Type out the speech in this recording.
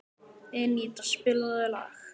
Eníta, spilaðu lag.